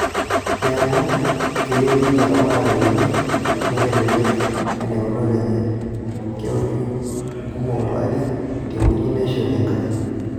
Neeku, keyieu ninche eramatare kiti neitelelek ena eunoto enye. Keunoi nkumok tolari tewueji neishori enkare.